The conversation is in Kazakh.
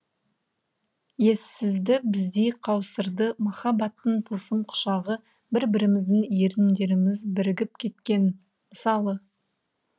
ессізді біздей қаусырды махаббаттың тылсым құшағы бір біріміздің еріндеріміз бірігіп кеткен мысалы